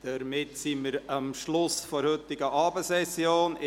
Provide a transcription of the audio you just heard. Wir sind am Schluss der heutigen Abendsession angelangt.